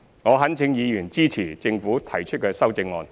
我懇請議員支持政府提出的修正案。